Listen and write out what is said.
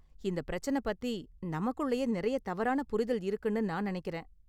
இந்த பிரச்சன பத்தி நமக்குள்ளயே நெறைய தவறான புரிதல் இருக்குனு நான் நெனைக்கறேன்.